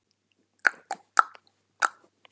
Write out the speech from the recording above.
Enginn að segja djók?